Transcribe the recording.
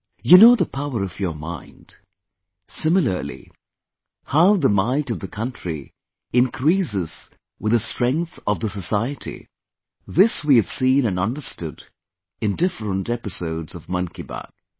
You know the power of your mind... Similarly, how the might of the country increases with the strength of the society...this we have seen and understood in different episodes of 'Mann Ki Baat'